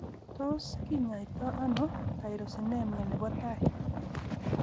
Tos kinyaita ano Tyrosinemia nebo tai?